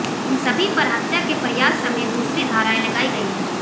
इन सभी पर हत्या के प्रयास समेत दूसरी धाराएं लगाई गई हैं